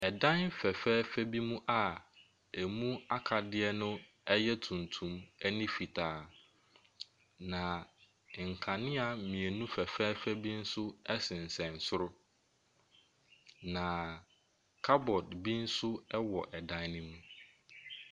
Ɛdan fɛfɛɛfɛ bi mu a emu akadeɛ no ɛyɛ tuntum ɛne fitaa na nkanea mmienu fɛfɛɛfɛ bi nso ɛsensen soro, na cupboard bi nso ɛwɔ dan no mu.